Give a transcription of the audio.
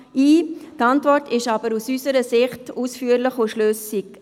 Die Antwort ist aus unserer Sicht aber ausführlich und schlüssig.